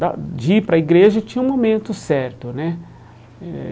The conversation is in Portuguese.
Da de ir para a igreja tinha um momento certo, né? Eh